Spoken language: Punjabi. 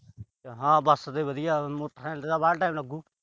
ਹਾਂ। ਬਸ ਤੇ ਵਧੀਆ। ਮੋਟਰਸਾਈਕਲ ਤੇ ਤਾਂ ਵਾਹਲਾ time ਲੱਗੂ।